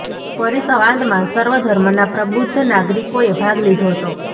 પરિસંવાદમાં સર્વ ધર્મના પ્રબુદ્ધ નાગરિકોએ ભાગ લીધો હતો